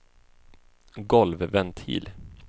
golvventil